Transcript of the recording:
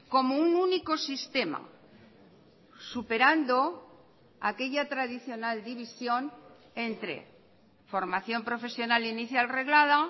como un único sistema superando aquella tradicional división entre formación profesional inicial reglada